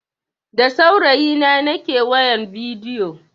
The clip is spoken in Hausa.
Da saurayi na nake wayan bidiyo.